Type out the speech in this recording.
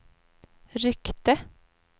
ryckte